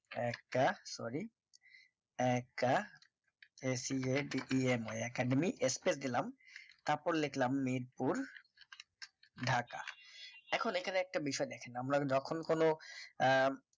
একটা sorry academy academy space দিলাম তারপর লিখলাম নিদপুর ঢাকা এখন এখানে একটা বিষয় দেখেন আমরা যখন কোন আহ